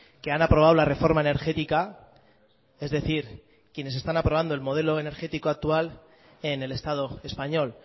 que han aprobado la reforma energética es decir quienes están aprobando el modelo energético actual en el estado español